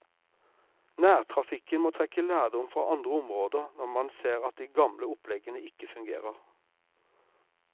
Nærtrafikken må trekke lærdom fra andre områder når man ser at de gamle oppleggene ikke fungerer.